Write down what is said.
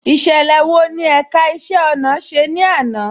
Ìṣẹlẹ wọ́ ni ẹ̀ká ìṣẹ̀ ọ̀nà ṣẹ̀ ni àná?